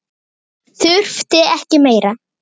Þurfti ekki meira.